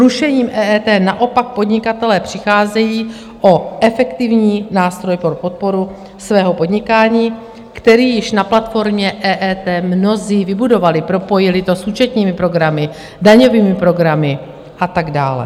Zrušením EET naopak podnikatelé přicházejí o efektivní nástroj pro podporu svého podnikání, který již na platformě EET mnozí vybudovali, propojili to s účetními programy, daňovými programy a tak dále.